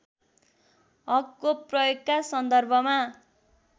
हकको प्रयोगका सन्दर्भमा